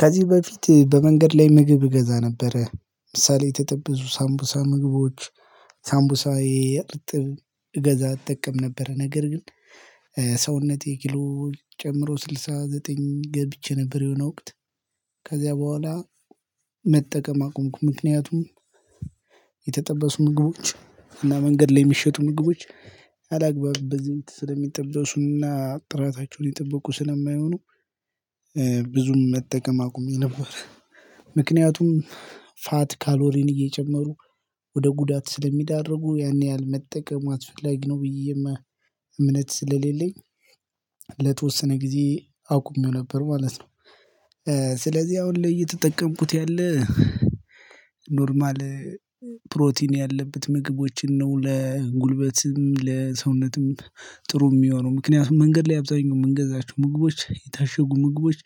ከዚህ በፊት በመንገድ ላይ ምግብ እገ ነበረ። ለምሳሌ የተጠበሱ ሳምቡሳ ምግቦች ሳምቡሳ ይሄ እርጥብ እገዛ እጠቀም ነበር። ነገር ግን ሰውነቴ ኪሎ ጨምሮ ስልሳ ዘጠኝ ገብቼ ነበር የሆነ ወቅት ከዚያ በኋላ መጠቀም አቆምኩ። ምክንያቱም የተጠበሱ ምግቦች እና መንገድ ላይ የሚሸጡ ምግቦች አላግባብ በዘይት ስለሚጠበሱና ጥራታቸውን የጠብቁ ስለማይሆኑ ብዙም መጠቀም አቁሜ ነበር። ምክንያቱም ፋት ካሎሪን እየጨመሩ ወደ ጉዳት ስለሚዳርጉ ያን ያህል መጠቀም አስፈለጊ ነው ብዬ እምነት ስለሌለኝ ለተወሰነ ጊዜ አቁሜው ነበር ማለት ነው። ስለዚህ አሁን ላይ እየተጠቀምኩት ያለ ኖርማል ፕሮቲን ያለበት ምግቦችን ነው። ለጉልበት፤ ለሰውነትም ጥሩ የሚሆነው ምክንያቱም መንገድ ላይ አብዛኛው የምንገዛቸው ምግቦች የታሸጉ ምግቦች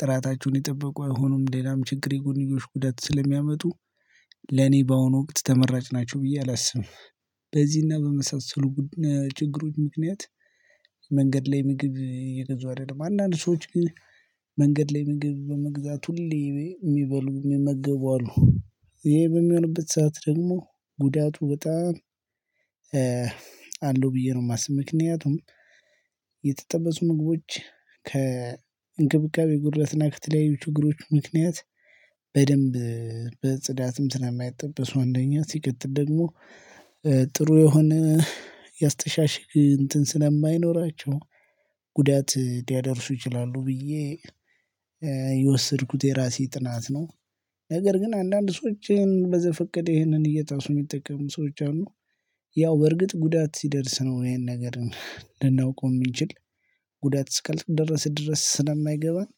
ጥራታቸውን የጠበቁ አይሆኑም። ሌላም ችግር የጎንዮሽ ጉዳት ስለሚያመጡ ለኔ በአሁኑ ወቅት ተመራጭ ናቸው ብዬ አላስብም። በዚህና በመሳሰሉ ችግሮች ምክንያት መንገድ ላይ ምግብ እየገዛሁ አይደለም። አንዳንድ ሰዎች ግን መንገድ ላይ ምግብ በመግዛት ሁሌ የሚበሉ የሚመግቡ አሉ። ይሄ በሚሆንበት ሰዓት ደግሞ ጉዳቱ በጣም አለው ብዬ ነው የማስበው። ምክንያቱም የተጠበሱ ምግቦች ከእንክብካቤ ጉድለትና እና ከተለያዩ ችግሮች ምክንያት በደንብ በጽዳትም ስለማያጠበሱ አንደኛ ሲቀጥል ደግሞ ጥሩ የሆነ ያስተሻሽግ እንትን ስለማይኖራቸው ጉዳት ሊያደርሱ ይችላሉ ብዬ የወሰድኩት የራሴ ጥናት ነው። ነገር ግን አንዳንድ ሰዎች በዘፈቀደ ይሄንን እየጣሱ የሚጠቀሙ ሰዎች አሉ። ያው በእርግጥ ጉዳት ሲደርስ ነው ይሄን ነገር ልናውቀው የምንችል ጉዳት እስካልደረሰ ድረስ ድረስ ስለማይገባን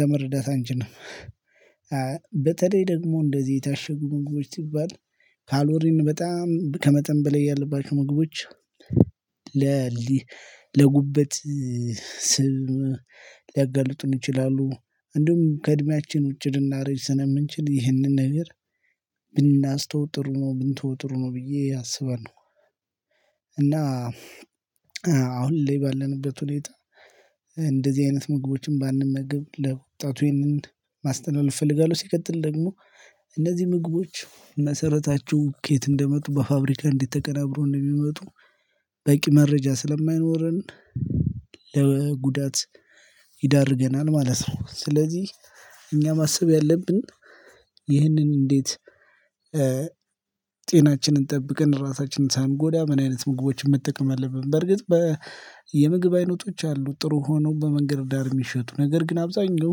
ለመርዳት አንችልም በተለይ ደግሞ እንደዚህ የታሸጉ ምግቦች ሲባል ካሎሪን በጣም ከመጠን በላይ ያለባቸው ምግቦች ለጉበት ስብም ሊያገልጡን ይችላሉ እንደውም ከእድሜያችን ውጪ ልናረጅ ስለምንችል ይህንን ነገር ብናስተውል ጥሩ ነው። ብንተወው ጥረ ነው ብዬ አስባለሁ አሁን ላይ ባለንበት ሁኔታ እንደዚህ አይነት ምግቦችን ባንመገብ ለወጣቱ ይህንን ማስተላለፍ እፈልጋለሁ ሲቀጥል ደግሞ እነዚህ ምግቦች መሰረታቸው ከየት እንደመጡ በፋብሪካ እንዴት ተቀናብረው እንደሚመጡ በቂ መረጃ ስለማይኖረን፤ ለጉዳት ይዳርገናል ማለት ነው። ስለዚህ እኛ ማሰብ ያለብን ይህንን እንዴት ጤናችንን ጠብቀን ራሳችንን ሳንጎዳ ምን አይነት ምግቦችን መጠቀም አለብን። በርግጥ የምግብ አይነቶች አሉ ጥሩ ሆነው በመንገድ ዳር የሚሸጡ ነገር ግን አብዛኛው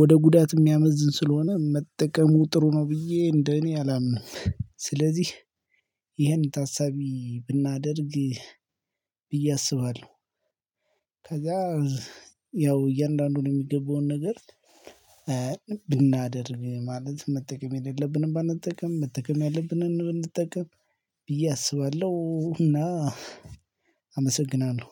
ወደ ጉዳት የሚያመዝን ስለሆነ መጠቀሙ ጥሩ ነው ብዬ እንደ እኔ አላምንም። ስለዚህ ይሄን ታሳቢ ብናደርግ ብዬ አስባለሁ። ከዛ ያው እያንዳንዱን የሚገባውን ነገር ብናደርግ ማለት መጠቀም የሌለብንም ባንጠቀም መጠቀም ያለብንን ብንጠቀም ብዬ አስባለሁ እና አመሰግናለሁ።